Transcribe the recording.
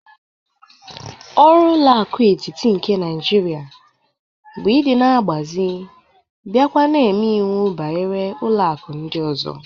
Oru ụlọ aku etiti nke Naijiria bu idi na agbazie bia kwa na eme iwu banyere ụlọ aku ndị ọzọ.